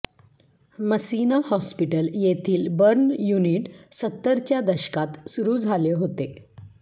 मसिना hospital येथील burn unit सत्तरच्या दशकात सुरू झाले होते